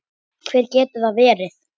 Hver getur það verið?